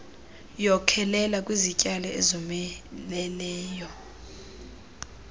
wkhokelela kwizityalo ezomeleleyo